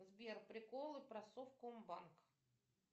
сбер приколы про совкомбанк